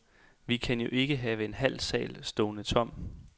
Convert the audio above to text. Vi kan jo ikke have en halv sal stående tom.